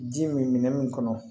Ji min minɛ min kɔnɔ